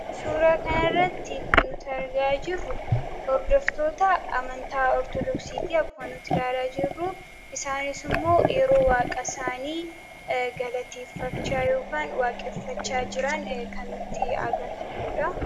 Suura kana irratti kan nuti argaa jirru, hordoftoota amantaa ortodooksiiti. Akkuma nuti ilaalaa jirru, isaanis immoo yeroo waaqa isaanii galateeffachaa yookin waaqeffachaa jiran kan nutti agarsiisuudha.